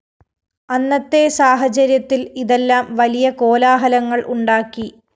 അന്നത്തെ സാഹചര്യത്തില്‍ ഇതെല്ലാം വലിയ കോലാഹലങ്ങള്‍ ഉണ്ടാക്കി